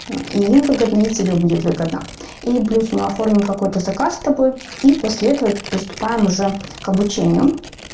и им выгодно и тебе будет выгодно и плюс мы оформим какой-то заказ с тобой и после этого приступаем уже к обучению